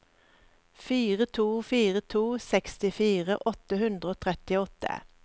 fire to fire to sekstifire åtte hundre og trettiåtte